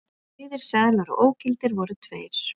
Auðir seðlar og ógildir voru tveir